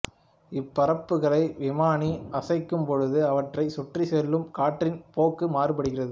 இப்பரப்புகளை விமானி அசைக்கும் பொழுது அவற்றை சுற்றிச் செல்லும் காற்றின் போக்கு மாறுபடுகிறது